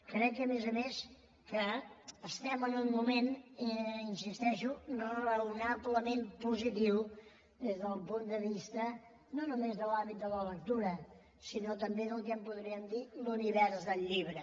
crec a més a més que estem en un moment hi insisteixo raonablement positiu des del punt de vista no només de l’hàbit de la lectura sinó també del que en podríem dir l’univers del llibre